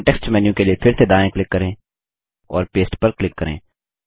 context menu के लिए फिर से दायाँ क्लिक करें और पस्ते पर क्लिक करें